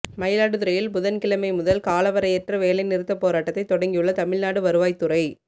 மயிலாடுதுறையில் புதன்கிழமைமுதல் காலவரையற்ற வேலைநிறுத்தப் போராட்டத்தை தொடங்கியுள்ள தமிழ்நாடு வருவாய்த் துறை